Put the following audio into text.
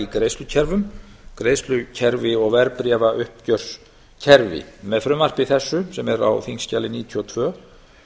greiðslukerfum greiðslukerfi og verðbréfauppgjörskerfi með frumvarpi þessu sem er á þingskjali níutíu og tvö